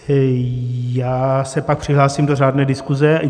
Já se pak přihlásím do řádné diskuze.